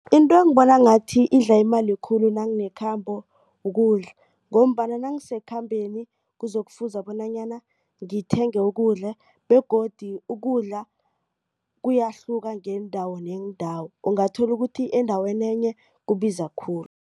Into engibona ngathi idla imali khulu nanginekhambo ukudla. Ngombana nangisekhambeni kuzokufuze bonanyana ngithenge ukudla begodu ukudla kuyahluka ngeendawo neendawo ungathola ukuthi endaweni enye kubiza khulu.